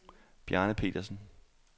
Bjarne Petersen